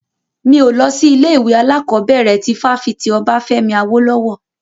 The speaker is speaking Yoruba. Mi ò lọ sí ilé ìwé alákọ̀bẹ̀rẹ̀ ti fáfitì Obafemi Awolowo.